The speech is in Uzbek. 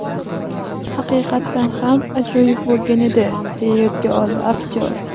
Haqiqatan ham, ajoyib bo‘lgan edi”, deya yodga oldi aktyor.